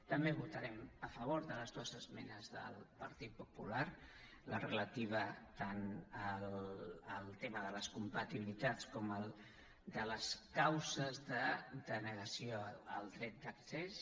també votarem a favor de les dues esmenes del partit popular la relativa tant al tema de les compatibilitats com en les causes de denegació del dret d’accés